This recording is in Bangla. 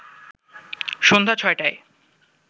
সন্ধ্যা ছয়টায়